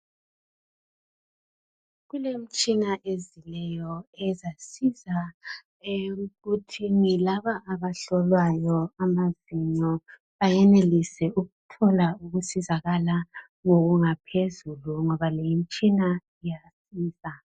kulemitshina ezileyo ezasiza ekuthini laba abahlolwayo amaginqo bayenelise ukuthola ukusizakala ngokungaphezulu ngoba leyi imitshina iyasiza